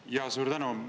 Jaa, suur tänu!